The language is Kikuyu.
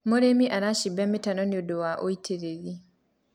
mũrĩmi aracimba mitaro nĩũndũ wa ũitiriri